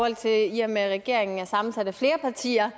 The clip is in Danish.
at der i og med at regeringen er sammensat af flere partier